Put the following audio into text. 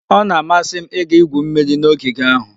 Ọ na-amasị m ịga igwu mmiri n'ogige ahụ.